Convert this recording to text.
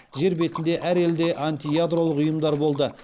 жер бетінде әр елде антиядролық ұйымдар болды